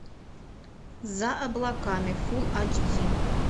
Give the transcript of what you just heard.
за облаками фул ач ди